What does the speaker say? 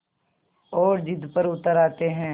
और ज़िद पर उतर आते हैं